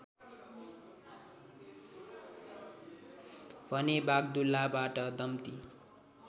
भने वाग्दुलाबाट दम्ति